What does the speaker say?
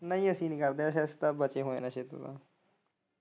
ਨਹੀਂ ਅਸੀਂ ਨੀ ਕਰਦੇ ਨਸਾ ਅਸੀਂ ਸਭ ਬਚੇ ਹੋਏ ਆ ਨਸੇ ਤੋਂ।